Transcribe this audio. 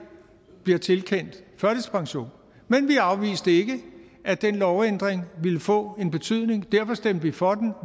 bliver tilkendt førtidspension men vi afviste ikke at den lovændring ville få en betydning og derfor stemte vi for den